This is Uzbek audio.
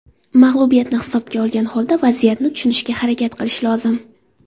Mag‘lubiyatni hisobga olgan holda vaziyatni tushunishga harakat qilish lozim.